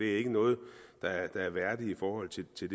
ikke noget der er værdigt i forhold til til